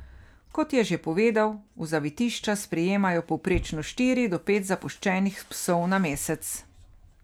Kot je še povedal, v zavetišča sprejmejo povprečno štiri ali pet zapuščenih psov na mesec.